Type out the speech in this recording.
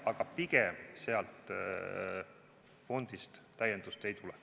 Aga pigem sealt fondist täiendust ei tule.